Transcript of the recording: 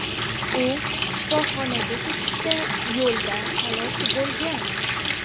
U shifoxonaga ketishda yo‘lda halok bo‘lgan.